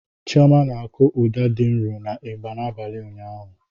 Chioma na-akụ ụda dị nro na ịgbà n'abalị ụnyaahụ.